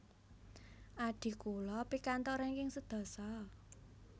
Adhi kula pikantuk ranking sedasa